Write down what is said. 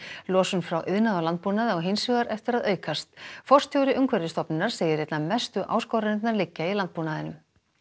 losun frá iðnaði og landbúnaði á hins vegar eftir að aukast forstjóri Umhverfisstofnunar segir einna mestu áskoranirnar liggja í landbúnaðinum